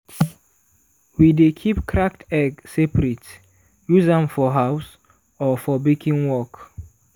we dey keep cracked egg separate use am for house or for baking work.